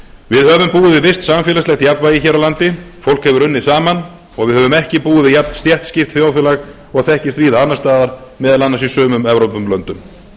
við höfum búið við visst samfélagslegt jafnvægi hér á landi fólk hefur unnið saman og við höfum ekki búið við jafnstéttskipt þjóðfélag og þekkist víða annars staðar meðal annars í sumum evrópulöndum